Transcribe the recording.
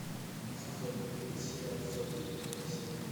сезон один сериал сотня первая серия